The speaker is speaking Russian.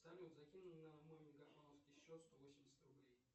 салют закинь на мой мегафоновский счет сто восемьдесят рублей